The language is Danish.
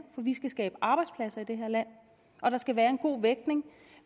vi skal skabe arbejdspladser i det her land og der skal være en god vægtning